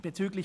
Bezüglich